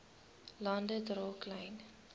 lande dra klein